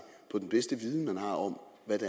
på den bedste viden man har om hvad